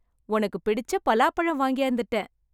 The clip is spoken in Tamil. உனக்கு பிடிச்ச பலாப்பழம் வாங்கியாந்துட்டேன் .